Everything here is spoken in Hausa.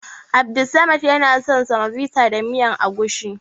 Abdussamad yana son semovita da miyar agushi.